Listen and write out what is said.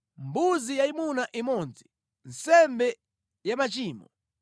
mbuzi yayimuna imodzi, nsembe ya machimo;